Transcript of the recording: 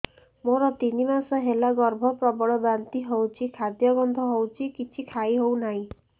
ମୋର ତିନି ମାସ ହେଲା ଗର୍ଭ ପ୍ରବଳ ବାନ୍ତି ହଉଚି ଖାଦ୍ୟ ଗନ୍ଧ ହଉଚି କିଛି ଖାଇ ହଉନାହିଁ